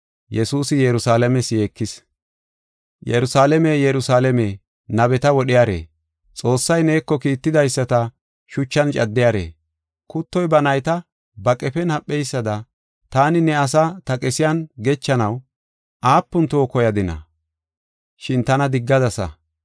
“Yerusalaame, Yerusalaame, nabeta wodhiyare! Xoossay neeko kiittidaysata shuchan caddiyare! Kuttoy ba nayta ba qefen hapheysada taani ne asaa ta qesiyan gechanaw aapun toho koyadina! Shin tana diggadasa.